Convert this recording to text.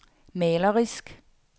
malerisk